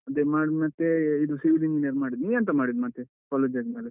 ಮತ್ತೆ ಇದು civil engineering ಮಾಡಿದ್ದು ನೀ ಎಂತ ಮಾಡಿದ್ದು ಮತ್ತೆ, college ಆದ್ಮೇಲೆ.